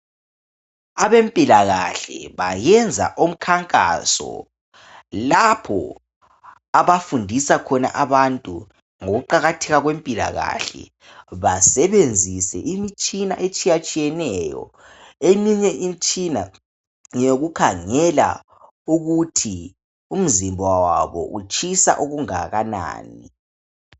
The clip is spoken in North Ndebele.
Abempilakahle bayenza umkhankaso lapho abafundisa khona abantu ngokuqakatheka kwempilakahle basebenzise imitshina etshiyatshiyeneyo eminye imitshina ngeyokukhangela ukuthi umzimba wabo utshisa okungakanani.